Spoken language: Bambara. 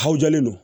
Ha jɔlen don